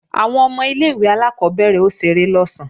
Àwọn ọmọ ilé-ìwé alákọ́bẹ̀rẹ̀ ó ṣeré lọ̀sán